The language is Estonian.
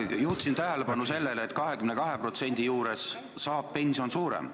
Juhtisin tähelepanu sellele, et 22% korral saab pension olema suurem.